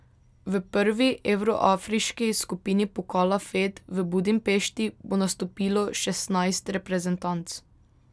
V prvi evroafriški skupini pokala fed v Budimpešti bo nastopilo šestnajst reprezentanc.